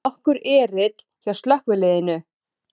Nokkur erill hjá slökkviliðinu